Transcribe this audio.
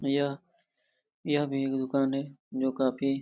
यह यह भी एक दुकान है जो काफी--